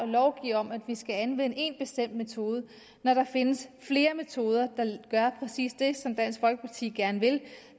lovgive om at vi skal anvende én bestemt metode når der findes flere metoder der gør præcis det som dansk folkeparti gerne vil